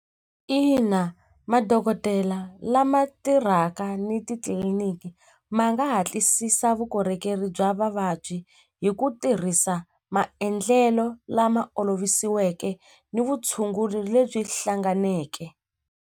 Ina madokodela lama tirhaka ni titliliniki ma nga hatlisisa vukorhokeri bya vavabyi hi ku tirhisa maendlelo lama olovisiweke ni vutshunguri lebyi hlanganeke.